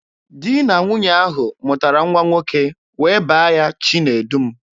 Di na nwunye ahụ mụtara nwa nwoke wee baa ya Chinedum.